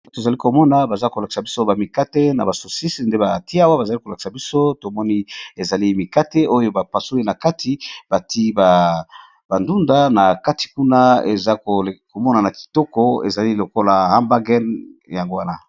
To zali ko mona baza ko lakisa biso ba mikate na ba sosis nde ba tié awa, ba zali ko lakisa biso to moni ezali mikate oyo ba pasoli na kati ba titié ba ndunda na kati kuna, eza ko mona na kitoko ezali lokola hambagen, yango wana .